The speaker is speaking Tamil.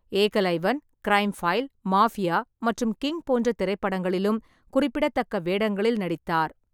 ஏகலைவன், க்ரைம் ஃபைல், மாஃபியா மற்றும் கிங் போன்ற திரைப்படங்களிலும் குறிப்பிடத்தக்க வேடங்களில் நடித்தார்.